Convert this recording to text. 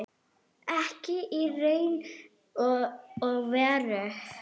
Ekki í raun og veru.